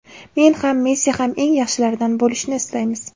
Men ham, Messi ham eng yaxshilardan bo‘lishni istaymiz.